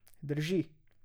Dži.